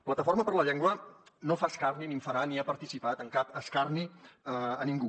plataforma per la llengua no fa escarni ni en farà ni ha participat en cap escarni a ningú